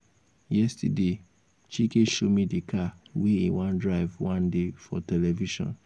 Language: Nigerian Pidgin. yesterday chike show me the car wey e wan drive one day for television